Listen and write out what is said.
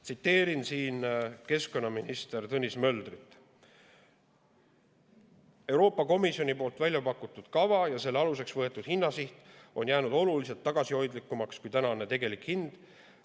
Tsiteerin siin keskkonnaminister Tõnis Möldrit, kes on öelnud, et Euroopa Komisjoni pakutud kava ja selle aluseks võetud hinnasiht on jäänud oluliselt tagasihoidlikumaks kui tänane tegelik hind.